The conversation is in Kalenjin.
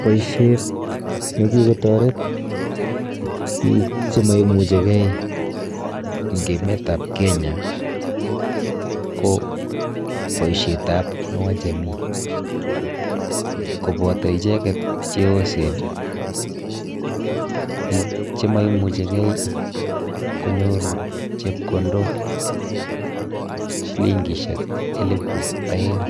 Boishet nekikotoret biik chimemuchigei eng emetap Kenya ko boishetap Inua jamii. Kopoto icheket cheyosen, biik chimemuchigei konyoru chepkondok shilingishek elepu oeng